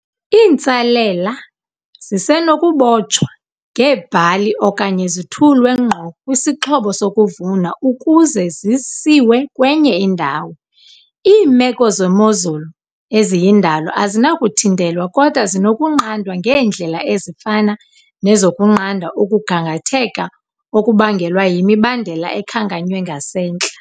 Iintsalela zisenoku botshwa ngeebhali okanye zithulwe ngqo kwisixhobo sokuvuna ukuze zisiwe kwenye indawo. Iimeko zemozulu eziyindalo azinakuthintelwa kodwa zinokunqandwa ngeendlela ezifana nezokunqanda ukugangatheka okubangelwa yimibandela ekhankanywe ngasentla.